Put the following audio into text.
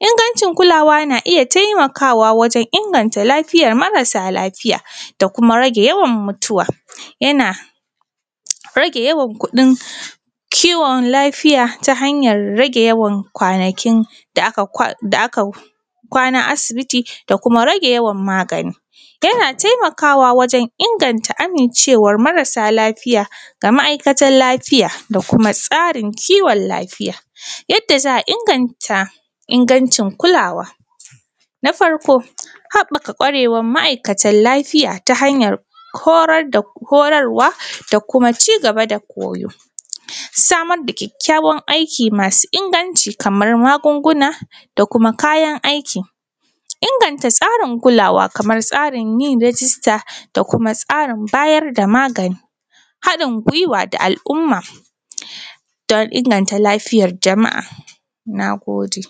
ingancin kulawa na iya taimakawa wajen inganta lafiyar marasa lafiya da kuma rage yawan mutuwa, yana rage yawan kuɗin kiwon lafiya ta hanyar rage yawan kwanakin da aka kwanta a asibiti da kuma rage yawan magani, yana taimakawa wajen inganta amincewan marasa lafiya ga ma’aikatan lafiya da kuma tsarin kiwon lafiya. Yadda za a inganta ingancin kulawa, na farko haɓaka kwarewar ma’aikatan lafiya ta hanyar horarwa da kuma cigaba da koyo, samar da kyakykyawan aiki masu inganci kaman magunguna da kuma kayan aiki, inganta tsarin kulawa da kuma tsarin yin rijista da kuma tsarin bayar da magani haɗin gwiwa da al’umma dan inganta lafiyar jama’a. Na gode.